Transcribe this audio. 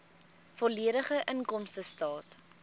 volledige inkomstestaat